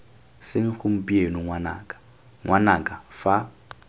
seng gompieno ngwanaka ngwanaka fa